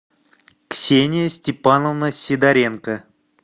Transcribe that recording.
ксения степановна сидоренко